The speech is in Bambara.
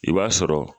I b'a sɔrɔ